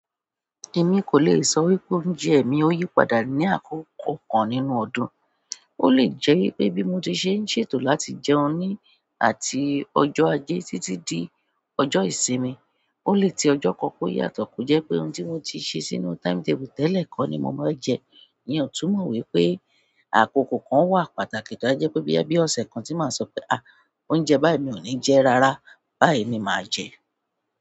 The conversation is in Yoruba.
Èmi kò lè sọ wípé oúnjẹ mi ò yí padà ní àkókò kan nínú ọdún. Ó lè jẹ́ wípé bí mo ti ṣe ń ṣètò láti jẹun ní àti ọjọ́ ajé títí di ọjọ́ ìsinmi, ó lè tí ọjọ́ kan kó yàtọ̀ kó jẹ́ pé ohun tí mo ti ṣí sínú timetable tẹ́lẹ̀ kọ́ ni mo máa jẹ. Ìyẹn ò túmọ̀ wípé àkokò kan wà pàtàkì tó á jẹ́ pé bí ẹbí ọ̀sẹ̀ kan tí màá ṣọ pé "à, oúnjẹ báyìí mi ò ní jẹ rárá, báyìí ni màá jẹ".